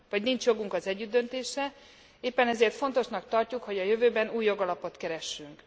nincs jogunk az együttdöntésre, éppen ezért fontosnak tarjuk, hogy a jövőben új jogalapot keressünk.